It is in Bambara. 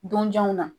Donjanw na